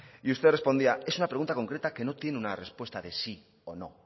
y usted respondía es una pregunta concreta que no tiene una respuesta de sí o no